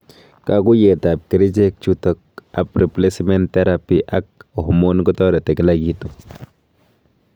katuiyet ap kerichek chutak ab replacement therapy ak hormone kotareti Kila kitu